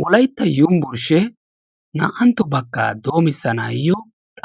wolaytta yunburshee naa'anto bakaa doomisanaayo